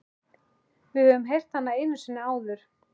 Við höfum heyrt hana einu sinni áður.